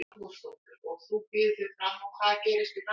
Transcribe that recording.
Þóra Arnórsdóttir: Og þú býður þig fram og hvað gerist í framhaldinu?